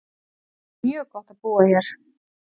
Það er mjög gott á búa hér.